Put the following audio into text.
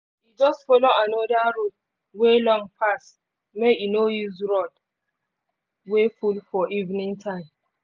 e just follow another road wey long pass make e no use road wey full for evening time